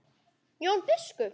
Jón biskup!